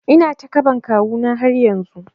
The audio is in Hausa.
Ina takaɓan kawu na har yanzu